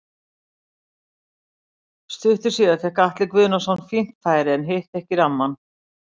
Stuttu síðar fékk Atli Guðnason fínt færi en hitti ekki rammann.